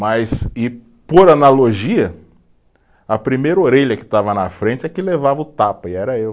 Mas, e por analogia, a primeira orelha que estava na frente é que levava o tapa, e era eu.